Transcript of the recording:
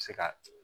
Se ka